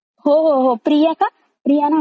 ते नाव मला इतकं नीट नाय आठवते.